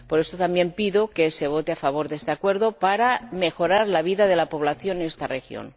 Por eso, pido que se vote a favor de este Acuerdo, para mejorar la vida de la población en esta región.